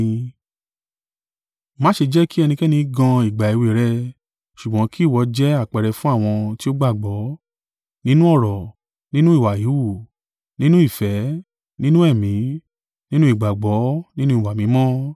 Má ṣe jẹ́ kí ẹnikẹ́ni gan ìgbà èwe rẹ; ṣùgbọ́n kì ìwọ jẹ́ àpẹẹrẹ fún àwọn tí ó gbàgbọ́, nínú ọ̀rọ̀, nínú ìwà híhù, nínú ìfẹ́, nínú ẹ̀mí, nínú ìgbàgbọ́, nínú ìwà mímọ́.